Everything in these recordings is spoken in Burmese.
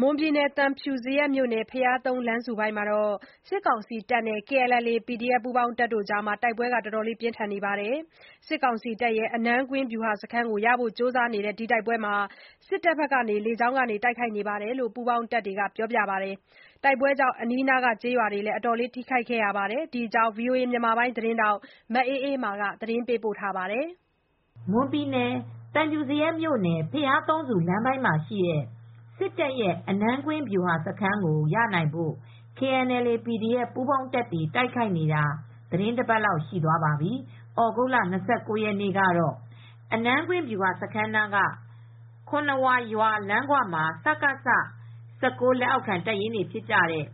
မွန်ပြည်နယ် သံဖြူဇရပ်မြို့နယ်၊ ဘုရားသုံးဆူ လမ်းပိုင်းမှာ စစ်တပ်နဲ့ KNLA/PDF ပူးပေါင်းတပ်တွေ တိုက်ပွဲ ဆက်လက်ပြင်းထန်နေပါတယ်။ စစ်တပ်ရဲ့အနန်းကွင်းဗျူဟာစခန်းကိုရဖို့ ကြိုးစားနေတဲ့ တိုက်ပွဲမှာ စစ်တပ်ဘက်က လေကြောင်းတိုက်ခိုက်မှုတွေ လုပ်နေတယ်လို့ ပူးပေါင်းတပ်တွေဘက်က ပြောပါတယ်။ တိုက်ပွဲတွေကြောင့် အနားကကျေးရွာတွေ အတော်လေး ထိခိုက်ခဲ့ပါတယ်။ ဒီသတင်းကို ဗွီအိုအေသတင်းထောက်မအေးအေးမာက သတင်းပေးပို့ထားပါတယ်။ မွန်ပြည်နယ် သံဖြူဇရပ်မြို့နယ်၊ ဘုရားသုံးဆူ လမ်းပိုင်းမှာရှိတဲ့ စစ်တပ်ရဲ့ အနန်းကွင်းဗျူဟာစခန်းကို ရနိုင်ဖို့ KNLA/PDF ပူးပေါင်းတပ်တွေ တိုက်ခိုက်နေတာ သီတင်း တပတ်လောက်ရှိသွားပါပြီ။ ဩဂုတ်လ ၂၉ ရက်နေ့ကတော့ အနန်းကွင်းဗျူဟာစခန်းနားက ခွန်နှစ်ဝါရွာလမ်းခွမှာ စကခ ၁၉ လက်အောက်ခံတပ်ရင်းတွေဖြစ်တဲ့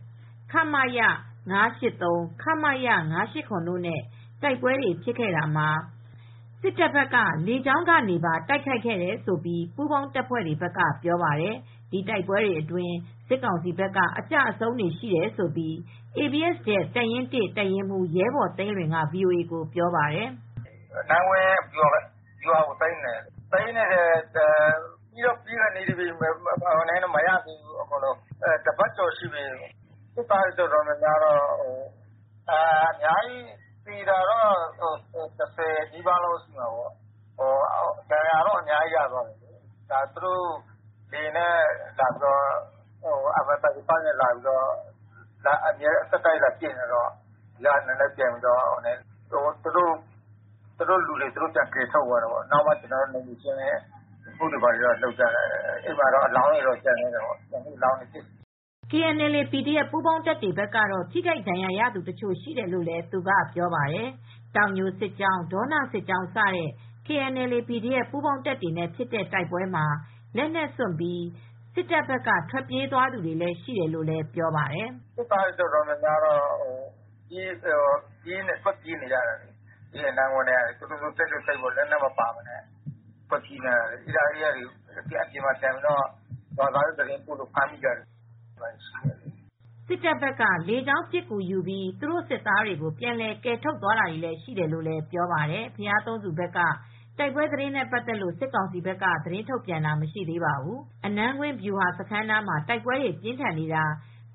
ခမရ ၅၈၃၊ ခမရ ၅၈၇ တို့နဲ့ တိုက်ပွဲဖြစ်ခဲ့တာမှာ စစ်တပ်ဘက်က လေကြောင်းကနေပါတိုက်ခိုက်ခဲ့တယ်လို့ ပူးပေါင်းတပ်တွေဘက်က ပြောပါတယ်။ ဒီတိုက်ပွဲအတွင်း စစ်ကောင်စီဘက်က အကျအဆုံးတွေရှိတယ်လို့ ABSDF တပ်ရင်း ၁ တပ်ရင်းမူး ရဲဘော်သိန်းလွင်က VOA ကိုပြောပါတယ်။ "အနန်းကွင်းဗျူဟာကို ဝင်သိမ်းနေတယ် သိမ်းတော့သိမ်းနေတာပြီးတော့ပြီးခါနီးပြီး မရသေးဘူး အကုန်လုံးကိုတော့ မရသေးဘူး ၊တပတ်ကျော်ရှိပြီ စစ်သားတွေတွေအတော်များများ ၁၀နီးပါးတော့သေတယ် ၊ ဒဏ်ရာတော့အများကြီးရတယ်၊စစ်တပ်ဘက်က လေယာဉ်နဲ့ MI35 နဲ့ လာပစ်နေတော့ ဆက်တိုက်လာပစ်နေတော့ သူတို့လူတွေကို သူတို့လာကယ်ထုတ်ကြတယ်၊ပြီးတဲ့အချိန်မှာ ကျနော်တို့ဘက်က နယ်မြေရှင်းလင်းရေးလုပ်နေတော့ အလောင်းတွေကျန်နေတယ်" KNLA/PDF ပူးပေါင်းတပ်တွေဘက်ကတော့ ထိခိုက်ဒဏ်ရာရသူတချို့ရှိတယ်လို့ သူကပြောပါတယ်။ တောင်ညိုစစ်ကြောင်း ဒေါနစစ်ကြောင်းစတဲ့ KNLA/ PDF ပူးပေါင်းတပ်တွေနဲ့ ဖြစ်တဲ့ တိုက်ပွဲမှာ လက်နက်စွန့်ပြီး စစ်တပ်ဘက်က ထွက်ပြေးသွားသူတွေလည်းရှိတယ်လို့ ပြောပါတယ်။ "အဲဒီဒေသမှာ စစ်ကောင်စီတပ်တွေနဲ့ နှစ်ဖက်တိုက်ပွဲဖြစ်နေတာကတော့ စစ်သားတွေအတော်များများကတော့ထွက်ပြေးနေရတယ် လက်နက်မပါပဲ တိတ်တဆိတ်ထွက်ပြေးနေကြတယ် သူတို့အပြင်မှာထွက်ပြေးနေတော့ရွာသားတွေကသတင်းပို့တာတွေလည်းရှိတယ်" စစ်တပ်ဘက်က လေကြောင်းပစ်ကူယူပြီး သူတို့စစ်သားတွေကို ပြန်လည်ကယ်ထုတ်သွားတာတွေရှိတယ်လို့လည်း ပြောပါတယ်။ ဘုရားသုံးဆူဘက်က တိုက်ပွဲသတင်းနဲ့ပတ်သက်လို့ စစ်ကောင်စီဘက်က သတင်းထုတ်ပြန်တာမရှိသေးပါဘူး။ အနန်းကွင်းဗျူစခန်းနားမှာ တိုက်ပွဲတွေပြင်းထန်နေတာ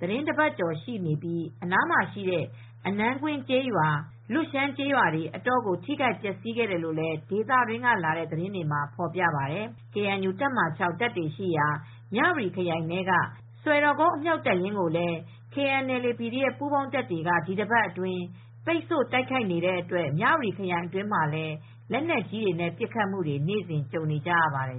သီတင်းတပတ်ကျော် ရှိနေပြီး အနားမှာရှိတဲ့ အနန်းကွင်းကျေးရွာ၊ လွတ်ရှမ်းကျေးရွာတွေ အတော်ကို ထိခိုက်ပျက်စီးခဲ့တယ်လို့ ဒေသတွင်းကလာတဲ့သတင်းတွေမှာ ဖော်ပြပါတယ်။ KNU တပ်မဟာ တပ်တွေရှိရာ မြ၀တီခရိုင်ထဲက စွယ်တော်ကုန်းအမြှောက်တပ်ရင်းကိုလည်း KNLA/PDF ပူးပေါင်းတပ်တွေက ဒီတပတ်အတွင်း ပိတ်ဆို့တိုက်ခိုက်နေတဲ့အတွက် မြ၀တီခရိုင်အတွင်းမှာလည်း လက်နက်ကြီးတွေနဲ့ ပစ်ခတ်မှု နေ့စဉ်ကြုံနေကြရပါတယ်